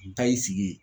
N taa y'i sigi ye